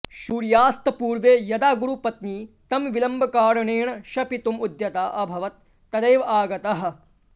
सूर्यास्तपूर्वे यदा गुरुपत्नी तं विलम्बकारणेन शपितुं उद्यता अभवत् तदैव आगतः